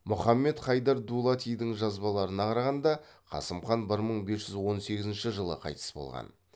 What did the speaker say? мұхаммед хайдар дулатидың жазбаларына қарағанда қасым хан бір мың бес жүз он сегізінші жылы қайтыс болған